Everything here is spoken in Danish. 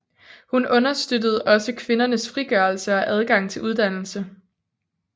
Hun understøttede også kvindernes frigørelse og adgang til uddannelse